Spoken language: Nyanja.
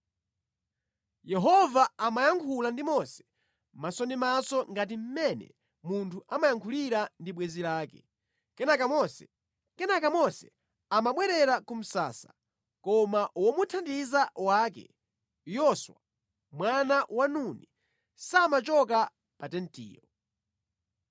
Yehova amayankhula ndi Mose maso ndi maso ngati mmene munthu amayankhulira ndi bwenzi lake. Kenaka Mose amabwerera ku msasa koma womuthandiza wake, Yoswa, mwana wa Nuni samachoka pa tentiyo.